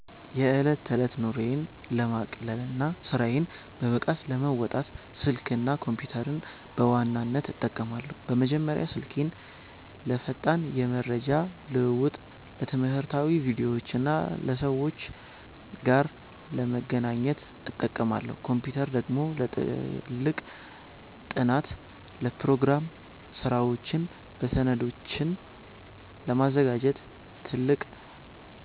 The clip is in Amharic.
የዕለት ተዕለት ኑሮዬን ለማቅለልና ስራዬን በብቃት ለመወጣት፣ ስልክና ኮምፒተርን በዋናነት እጠቀማለሁ። በመጀመሪያ ስልኬን ለፈጣን የመረጃ ልውውጥ፣ ለትምህርታዊ ቪዲዮዎችና ከሰዎች ጋር ለመገናኛነት እጠቀማለሁ። ኮምፒተር ደግሞ ለጥልቅ ጥናት፣ ለፕሮግራም ስራዎችና ሰነዶችን ለማዘጋጀት ትልቅ